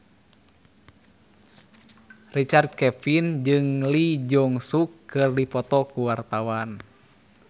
Richard Kevin jeung Lee Jeong Suk keur dipoto ku wartawan